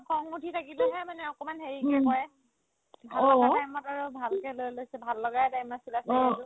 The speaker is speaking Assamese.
খং উঠি থাকিলেহে মানে অকনমান হেৰিকে কই এনেকুৱা time ত আৰু ভালকে লৈ লই ভাল লগাই time আছিলে সেইটো